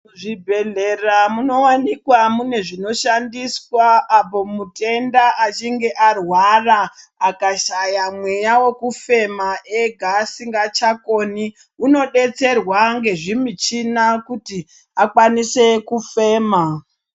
Muzvibhedhlera munowanikwa mune zvinoshandiswa apo mutenda achinge arwara akashaya mweya wekufema ega asingachakoni unodetserwa ngezvimuchina kuti akwanise kufema.